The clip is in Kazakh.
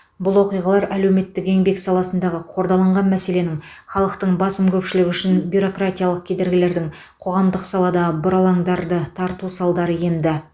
бұл оқиғалар әлеуметтік еңбек саласындағы қордаланған мәселенің халықтың басым көпшілігі үшін бюрократиялық кедергілердің қоғамдық салада бұрандаларды тарту салдары еді